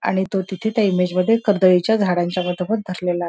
आणि तो त्या इमेज मध्ये करदळीच्या झाडाच्या मागे उभा आहे.